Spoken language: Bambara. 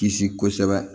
Kisi kosɛbɛ